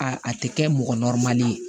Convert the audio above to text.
A a tɛ kɛ mɔgɔ ye